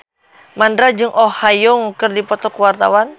Mandra jeung Oh Ha Young keur dipoto ku wartawan